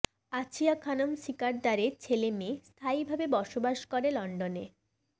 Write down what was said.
আছিয়া খানম শিকদারের ছেলে মেয়ে স্থায়ীভাবে বসবাস করে লন্ডনে